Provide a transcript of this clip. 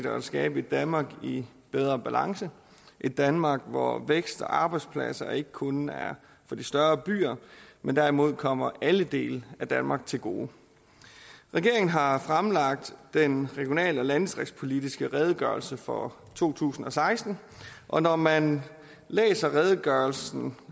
at skabe et danmark i bedre balance et danmark hvor vækst og arbejdspladser ikke kun er for de større byer men derimod kommer alle dele af danmark til gode regeringen har fremlagt den regional og landdistriktspolitiske redegørelse for to tusind og seksten og når man læser redegørelsen